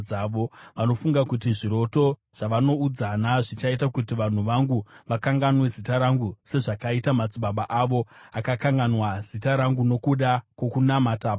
Vanofunga kuti zviroto zvavanoudzana zvichaita kuti vanhu vangu vakanganwe zita rangu sezvakaita madzibaba avo akakanganwa zita rangu nokuda kwokunamata Bhaari.